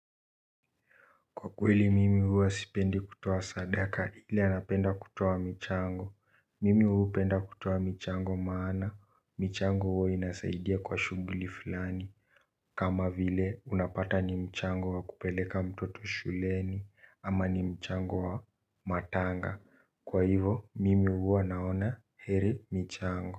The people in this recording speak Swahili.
Kwa kweli mimi huwa sipendi kutoa sadaka ila napenda kutoa michango. Mimi huu penda kutoa michango maana, michango huwa inasaidia kwa shughuli fulani. Kama vile unapata ni mchango wa kupeleka mtoto shuleni ama ni mchango wa matanga kwa hivo mimi huwa naona heri michango.